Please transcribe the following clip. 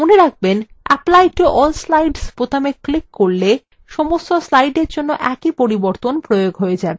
মনে রাখবেন apply to all slides বোতামে ক্লিক করলে সমস্ত slides জন্য একই পরিবর্তন প্রয়োগ হয়ে যায়